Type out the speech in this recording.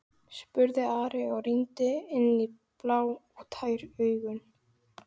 spurði Andri og rýndi inn í blá og tær augun.